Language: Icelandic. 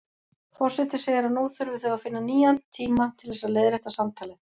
Forseti segir að nú þurfi þau að finna nýjan tíma til þess að leiðrétta samtalið.